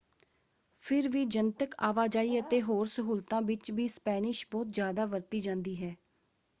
ਫਿਰ ਵੀ ਜਨਤਕ ਆਵਾਜਾਈ ਅਤੇ ਹੋਰ ਸਹੂਲਤਾਂ ਵਿੱਚ ਵੀ ਸਪੈਨਿਸ਼ ਬਹੁਤ ਜ਼ਿਆਦਾ ਵਰਤੀ ਜਾਂਦੀ ਹੈ।